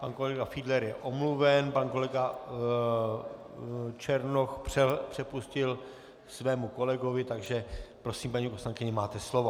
Pan kolega Fiedler je omluven, pan kolega Černoch přepustil svému kolegovi, takže prosím, paní poslankyně, máte slovo.